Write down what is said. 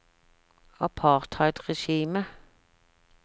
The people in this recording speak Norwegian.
apartheidregimet